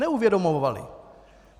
Neuvědomovali.